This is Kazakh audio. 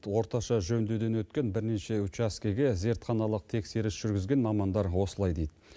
орташа жөндеуден өткен бірнеше учаскіге зертханалық тексеріс жүргізген мамандар осылай дейді